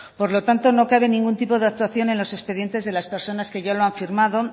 por lo tanto no cabe ningún de actuación en los expedientes de las personas